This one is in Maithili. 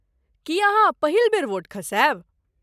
की अहाँ पहिल बेर वोट खसायब ?